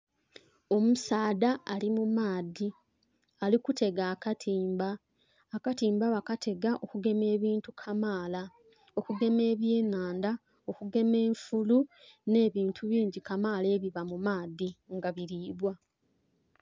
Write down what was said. Omusaadha ali mu maadhi ali kuteega akatimba, akatimba bakatega okugema ebintu kamaala okugema ebye nhandha, okugema enfulu nhe bintu ebindhi kamaala ebiba mu maadhi nga bilibwa.